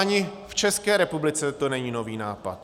Ani v České republice to není nový nápad.